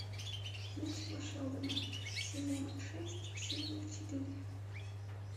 детство шелдона сезон шесть серия четыре